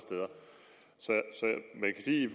sige